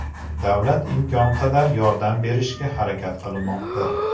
Davlat imkon qadar yordam berishga harakat qilmoqda.